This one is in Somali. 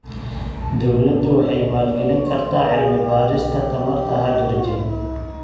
Dawladdu waxay maalgelin kartaa cilmi-baarista tamarta hydrogen.